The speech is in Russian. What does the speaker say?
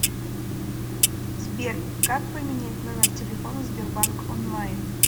сбер как поменять номер телефона в сбербанк онлайн